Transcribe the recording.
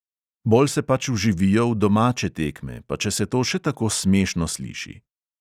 Bolj se pač vživijo v domače tekme, pa če se to še tako smešno sliši.